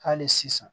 Hali sisan